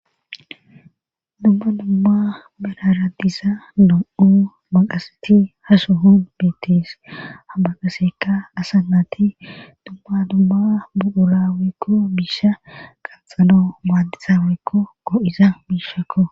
dumma dumma bararadisa do7u maqasati haso huun beettes habaqaseka asa naati dumma dumma budurawekko biisha qanxalo maadisawekko goo7iza biishakko